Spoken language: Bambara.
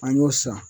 An y'o san